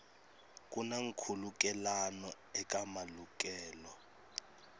ku na nkhulukelano eka malukelo